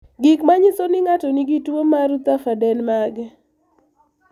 Gik manyiso ni ng'ato nigi tuwo mar Rutherfurd en mage?